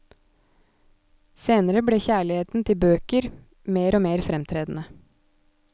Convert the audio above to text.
Senere ble kjærligheten til bøker mer og mer fremtredende.